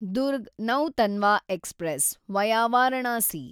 Durg Nautanwa express, via Varanasi